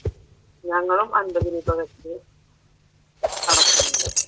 ഞങ്ങളും അൻപത് രൂപാ വെച്ച് അടക്കുന്നുണ്ട്.